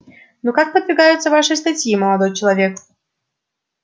ну как подвигаются ваши статьи молодой человек